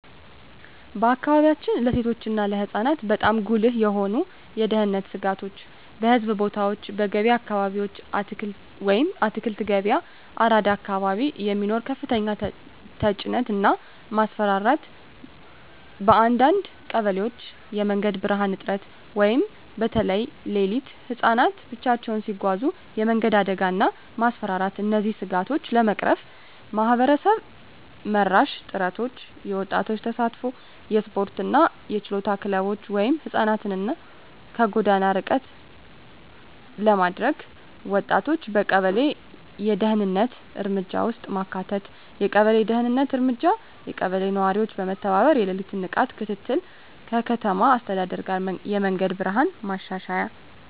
በአካባቢያችን ለሴቶች እና ለህፃናት በጣም ጉልህ የሆኑ የደህንነት ስጋቶች :- በሕዝብ ቦታዎች *በገበያ አካባቢዎች (አትክልት ገበያ፣ አራዳ አካባቢ) የሚኖር ከፍተኛ ተጭነት እና ማስፈራራት *በአንዳንድ ቀበሌዎች የመንገድ ብርሃን እጥረት (በተለይ ሌሊት) *ህፃናት ብቻቸውን ሲጓዙ የመንገድ አደጋ እና ማስፈራራት እነዚህን ስጋቶች ለመቅረፍ ማህበረሰብ መራሽ ጥረቶች :- የወጣቶች ተሳትፎ *የስፖርትና የችሎታ ክለቦች (ህፃናትን ከጎዳና ርቀት ለማድረግ) *ወጣቶችን በቀበሌ የደህንነት እርምጃ ውስጥ ማካተት የቀበሌ ደህንነት እርምጃ *የቀበሌ ነዋሪዎች በመተባበር የሌሊት ንቃት ክትትል *ከከተማ አስተዳደር ጋር የመንገድ ብርሃን ማሻሻያ